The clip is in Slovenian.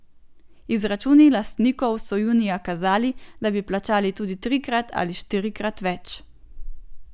Izračuni lastnikov so junija kazali, da bi plačali tudi trikrat ali štirikrat več.